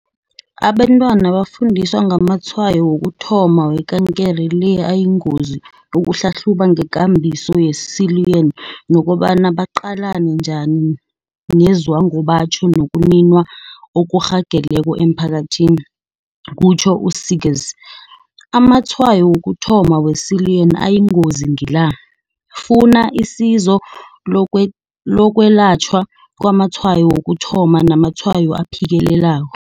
Abentwaba bafundiswa ngamatshwayo wokuthoma wekankere le ayingozi ukuhlahluba ngekambiso ye-Siluan nokobana baqalane njani nezwangobatjho nokuniwa okurhageleko emiphakathini, kutjho u-See gers. Amatshwayo wokuthoma we-Siluan ayingozi ngila, Funa, Isizo lokwelatjhwa kwamatshwayo wokuthoma, namatshwayo aphikelelako.